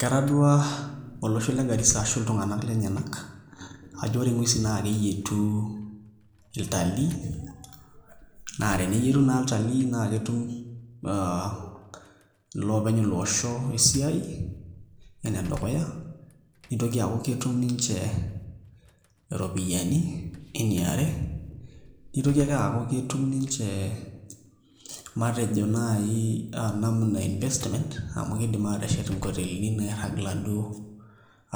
Ketaduaa olosho le Garisa ashu iltung'anak lenyenak ajo ore ng'uesin naa keyietu iltalii naa teneyietu naa iltalii naa ketum aa iloopeny ilo osho esiai enedukuya, nitoki aaku ketum ninche iropiyiani eniare, nitoki ake aaku ketum ninche matejo naai namna e investments amu kiidim aateshet nkotelini nairrag iladuo